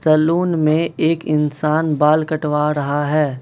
Salon में एक इंसान बाल कटवा रहा है।